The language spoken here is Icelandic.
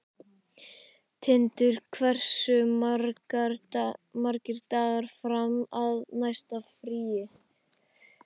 Tindur, hversu margir dagar fram að næsta fríi?